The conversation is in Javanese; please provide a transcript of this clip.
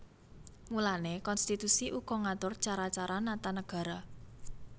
Mulané konstitusi uga ngatur cara cara nata nagara